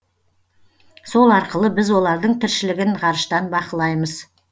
сол арқылы біз олардың тіршілігін ғарыштан бақылаймыз